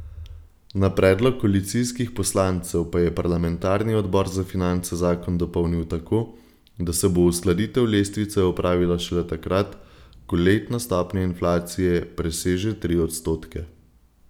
Na predlog koalicijskih poslancev pa je parlamentarni odbor za finance zakon dopolnil tako, da se bo uskladitev lestvice opravila šele takrat, ko letna stopnja inflacije preseže tri odstotke.